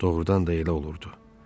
Doğrudan da elə olurdu.